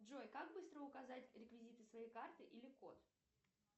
джой как быстро указать реквизиты своей карты или код